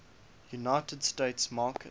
united states market